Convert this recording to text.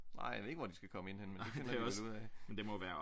Nej jeg ved ikke hvor de skal komme ind henne men det finder de vel ud af